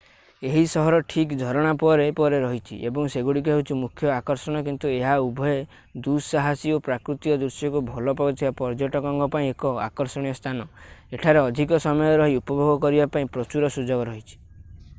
ଏହି ସହର ଠିକ୍ ଝରଣା ପରେ ପରେ ରହିଛି ଏବଂ ସେଗୁଡ଼ିକ ହେଉଛି ମୁଖ୍ୟ ଆକର୍ଷଣ କିନ୍ତୁ ଏହା ଉଭୟେ ଦୁଃସାହସୀ ଓ ପ୍ରାକୃତିକ ଦୃଶ୍ୟକୁ ଭଲ ପାଉଥିବା ପର୍ଯ୍ୟଟକଙ୍କ ପାଇଁ ଏକ ଆକର୍ଷଣୀୟ ସ୍ଥାନ ଏଠାରେ ଅଧିକ ସମୟ ରହି ଉପଭୋଗ କରିବା ପାଇଁ ପ୍ରଚୁର ସୁଯୋଗ ରହିଛି